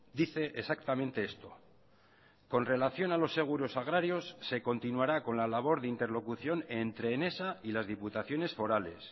dice exactamente esto con relación a los seguros agrarios se continuará con la labor de interlocución entre enesa y las diputaciones forales